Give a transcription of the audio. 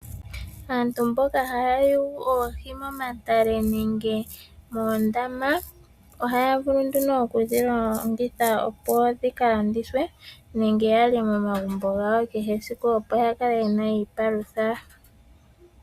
Aantu mboka ha ya yugu oohi momatale nenge moondama , ohaya vulu nduno okudhilongitha opo dhika landithwe nenge yalye momagumbo gawo kehe esiku opo ya kale ye na opo ya kale ye na iipalutha.